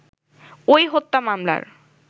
ওই হত্যা মামলার